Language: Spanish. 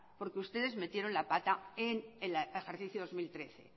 porque ustedes metieron la pata en el ejercicio dos mil trece